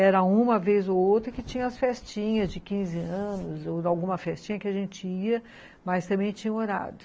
Era uma vez ou outra que tinha as festinhas de quinze anos, ou alguma festinha que a gente ia, mas também tinha horário.